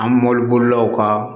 An mobili bolilaw ka